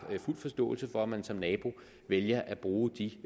fuld forståelse for at man som nabo vælger at bruge de